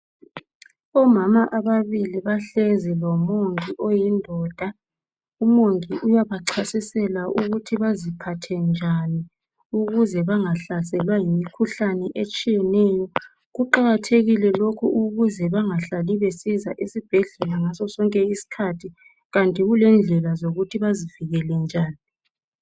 Omama ababili bahlezi lomongi oyindoda .Umongi uyabachasisela ukuthi baziphathe njani ukuze bangahlaselwa yimikhuhlane etshiyeneyo. Kuqakathekile lokhu ukuze bangahlali besiza esibhedlela ngasosonke isikhathi kanti kulendlela zokuthi bazivikele njani